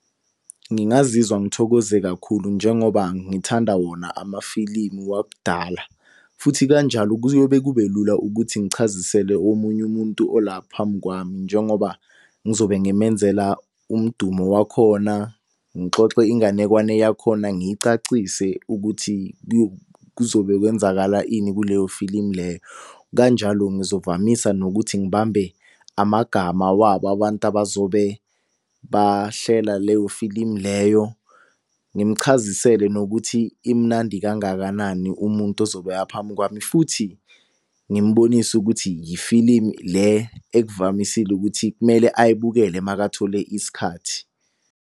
Ngingazizwa ngithokoze kakhulu njengoba ngithanda wona amafilimu wakudala. Futhi kanjalo kuyobe kube lula ukuthi ngichazisele omunye umuntu ola phambi kwami njengoba ngizobe ngimenzela umdumo wakhona, ngixoxe inganekwane yakhona, ngiyicacise ukuthi kuzobe kwenzakala ini kuleyo filimu leyo. Kanjalo ngizovamisa nokuthi ngibambe amagama wabo abantu abazobe bahlela leyo filimu leyo. Ngimuchazisele nokuthi imnandi kangakanani umuntu ozobe aphambi kwami futhi, ngimbonise ukuthi yifilimu le ekuvamisile ukuthi kumele ayibukele makathola isikhathi.